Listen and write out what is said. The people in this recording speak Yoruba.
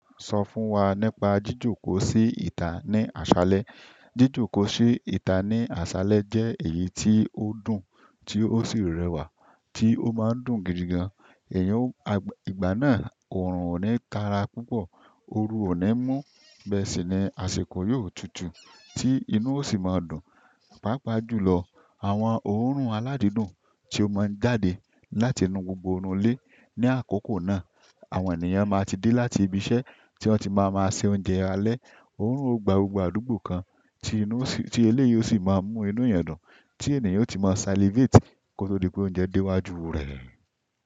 Sọ fún wa nípa jíjòkòó sí ìta ní àṣálẹ́. Jíjòkòó sí ìta ní àṣálẹ́ jẹ́ èyí tí ó dùn, tí ó sì rẹwà, tí ó máa ń dùn gidigan. Ẹ̀yin ò, à, ìgbà náà òórùn ò ní tàrà púpọ̀, ooru ò ní mú bẹ́ẹ̀ sí ni àsìkò yóò tutù tí inú yóò sì máa dùn. Pápá jùlọ àwọn òórùn aládídùn tí ó máa ń jáde láti inú gbogbo orun ilé. Ni àkókò náà, àwọn ènìyàn máa ti dé láti ibi iṣẹ́ tí wọ́n ti máa máa se oúnjẹ alẹ́. Oórùn ò gbàùgbàùgbò kan ti inú sì, tí èlé yìí ó sì máa mú inú èniyẹn dùn tí ènìyàn ó ti máa salivate kó tó dí pé oúnjẹ dé wá ju rẹ̀.